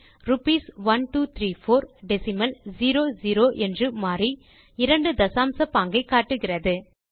rupees 1234 decimal zero zero என்று மாறி இரண்டு தசாம்ச பாங்கை காட்டுகிறது